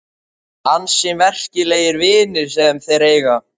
Ansi merkilegir vinir sem þeir eiga.